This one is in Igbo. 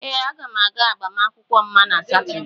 Ee, m ga-aga agbamakwụkwọ Mma na Satọde.